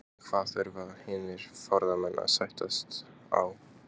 En hvað þurfa hinir formennirnir að sættast á?